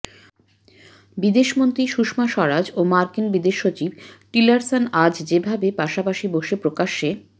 বিদেশমন্ত্রী সুষমা স্বরাজ ও মার্কিন বিদেশসচিব টিলারসন আজ যে ভাবে পাশাপাশি বসে প্রকাশ্যে